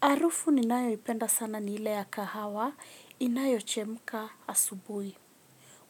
Harufu ninayoipenda sana ni ile ya kahawa inayochemka asubuhi.